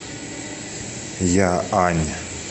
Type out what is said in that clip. яань